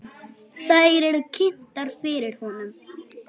Þær eru kynntar fyrir honum.